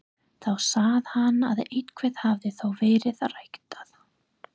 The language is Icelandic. Þá sá hann að eitthvað hafði þó verið ræktað.